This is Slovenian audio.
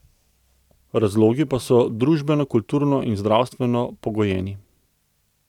Razlogi pa so družbeno, kulturno in zdravstveno pogojeni.